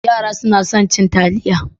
Yara suna son cin taliya.